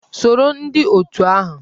Soro ndị otù ahụ!